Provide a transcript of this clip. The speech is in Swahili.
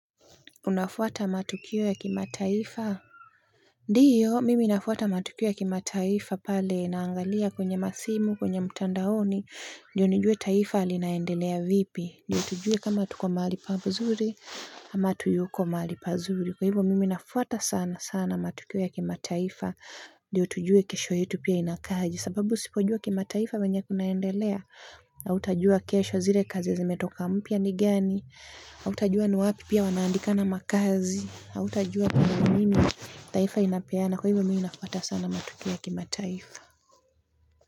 Unafuata matukio ya kimataifa? Ndio, mimi nafuata matukio ya kimataifa pale naangalia kwenye masimu, kwenye mtandaoni. Ndio nijue taifa linaendelea vipi. Ndio tujue kama tuko mahali pazuri, ama hatuyuko mahali pazuri. Kwa hivyo mimi nafuata sana sana matukio ya kimataifa. Ndio tujue kesho yetu pia inakaaje sababu usipojua kimataifa venye kunaendelea. Hautajua kesho zile kazi zimetoka mpya ni gani. Hautajua ni wapi pia wanaandikana makazi, hautajua kuna nini taifa inapeana, kwa hivyo mimi nafuata sana matukio ya kimataifa.